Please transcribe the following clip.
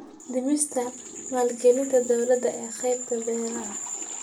Dhimista maalgelinta dawladda ee qaybta beeraha.